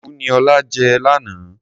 fùfú ni ọlá jẹ lánàá.